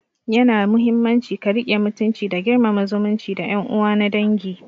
Yana muhimmanci ka riƙe mutunci da girmama zumunci da yan uwa na dangi